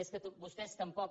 és que vostès tampoc